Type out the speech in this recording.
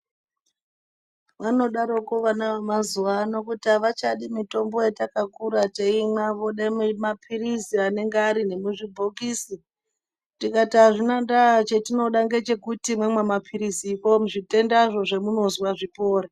Vanodaroko vana vemazuwa ano kuti avachadi mitombo yatakakura teimwa vode mapirizi anenge ari nemuzvibhokisi tikati azvina ndaa chetinoda ngechekuti mamwa mapiriziko zvitendazvo zvemunozwa zvipore.